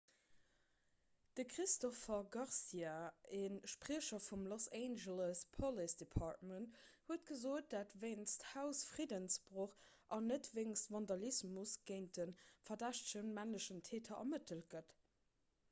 de christopher garcia e spriecher vum los angeles police department huet gesot datt wéinst hausfriddensbroch an net wéinst vandalismus géint de verdächtege männlechen täter ermëttelt gëtt